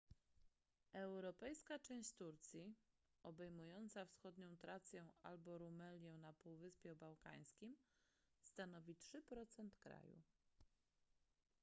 europejska część turcji obejmująca wschodnią trację albo rumelię na półwyspie bałkańskim stanowi 3% kraju